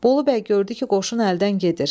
Bolu bəy gördü ki, qoşun əldən gedir.